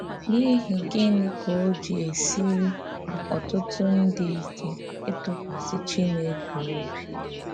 N’íhì gịnị ka ó ji èsìrị ọ̀tụtụ̀ ndí íké ítụ̀kwàsị Chìnékè òbì?